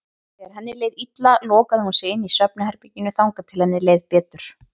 Þegar henni leið illa lokaði hún sig inni í svefnherberginu þangað til henni leið betur.